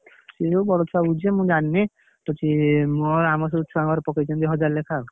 ସେ ବଡ ଛୁଆ, ମୁଁ ଜାଣିନି? କିଛି ଆମ ସେଇ ଛୁଆଙ୍କର ପକେଇଛନ୍ତି ହଜାର ଲେଖାଁ ଆଉ।